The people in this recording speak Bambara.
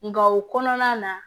Nka o kɔnɔna na